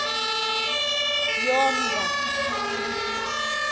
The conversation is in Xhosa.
yomnga